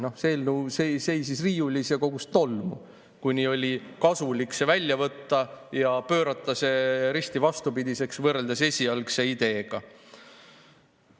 No see eelnõu seisis riiulis ja kogus tolmu, kuni oli kasulik see välja võtta ja pöörata see risti vastupidiseks võrreldes esialgse ideega.